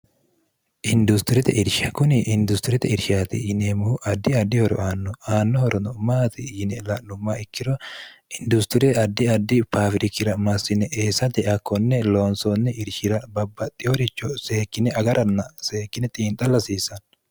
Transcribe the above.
industirete irsha kuni industirite irshaati yiniemmuhu addi addi horo aanno aannohorono maati yine la'lumma ikkiro industirie addi adi paawirikira massine eessate akkonne loonsoonni irshira babbaxxi horicho seekkine agaranna seekkine xiinxallasiisanno